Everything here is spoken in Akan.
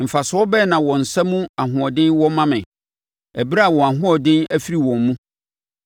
Mfasoɔ bɛn na wɔn nsa mu ahoɔden wɔ ma me, ɛberɛ a wɔn ahoɔden afiri wɔn mu?